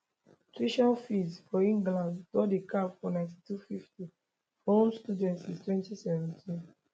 tuition fees for england don dey capped for 9250 for home students since 2017